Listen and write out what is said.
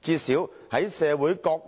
最少在社會各